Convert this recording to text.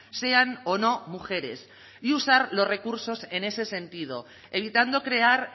sean o no mujeres y usar los recursos en ese sentido evitando crear